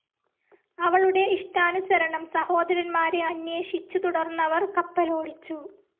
അവളുടെ ഇഷ്ടാനുസരണം സഹോദരന്മാരെ അന്വേഷിച്ചു തുടർന്നവർ കപ്പലോടിച്ചു.